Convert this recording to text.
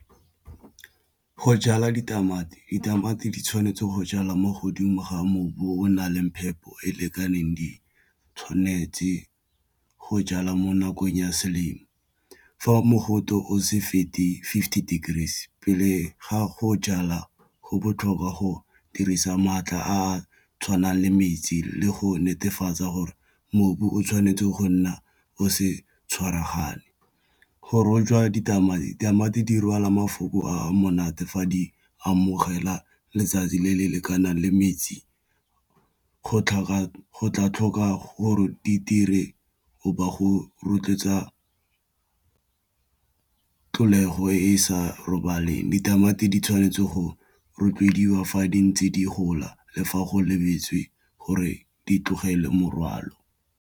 Go jala ditamati, ditamati di tshwanetse go jalwa mo godimo ga mobu o na leng phepo e e lekaneng di tshwanetse go jalwa mo nakong ya selemo fa mogote o se fete fifty degrees pele ga go jalwa go botlhokwa go dirisa maatla a a tshwanang le metsi le go netefatsa gore mobu o tshwanetse go nna o se tshwaragane, go rojwa ditamati-ditamati di rwala mafoko a monate fa di amogela letsatsi le le lekanang le metsi go tlhoka gore di dire o ba go rotloetsa tlholego e sa robalela ditamati di tshwanetse go rotloediwa fa di ntse di gola le fa go lebetse gore di tlogele morwalo.